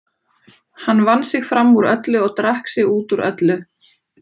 Hann vann sig fram úr öllu og drakk sig út úr öllu.